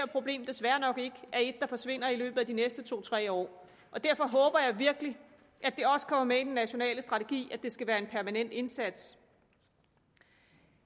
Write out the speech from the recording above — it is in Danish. problem desværre nok ikke er et der forsvinder i løbet af de næste to tre år derfor håber jeg virkelig at det også kommer med i den nationale strategi at det skal være en permanent indsats